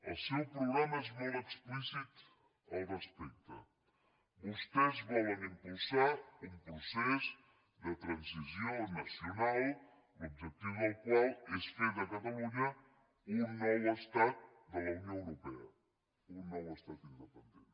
el seu programa és molt explícit al respecte vostès volen impulsar un procés de transició nacional l’objectiu del qual és fer de catalunya un nou estat de la unió europea un nou estat independent